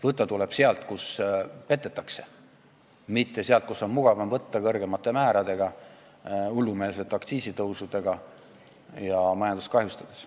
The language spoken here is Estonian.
Võtta tuleb sealt, kus petetakse, mitte sealt, kust on mugavam võtta kõrgemate määradega, hullumeelsete aktsiisitõusudega ja majandust kahjustades.